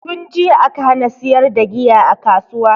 Tunjiya aka hana siyar da giya a kasuwa